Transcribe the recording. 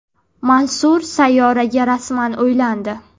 Mansur Sayyoraga rasman uylandi.